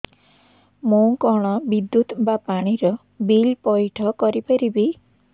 ମୁ କଣ ବିଦ୍ୟୁତ ବା ପାଣି ର ବିଲ ପଇଠ କରି ପାରିବି